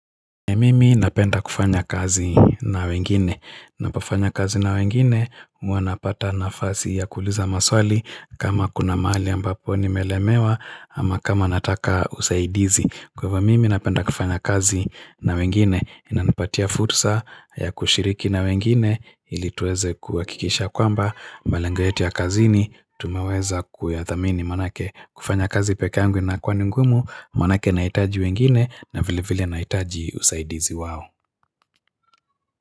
Mimi napenda kufanya kazi na wengine, napofanya kazi na wengine, huwa napata nafasi ya kuuliza maswali kama kuna mahali ambapo nimelemewa ama kama nataka usaidizi. Kwa hivyo mimi napenda kufanya kazi na wengine, inanipatia fursa ya kushiriki na wengine, ili tuweze kuhakikisha kwamba, malengo yetu ya kazini, tumeweza kuyathamini manake kufanya kazi peke yangu imekuwa ni ngumu, manake naitaji wengine na vile vile naitaji usaidizi wao.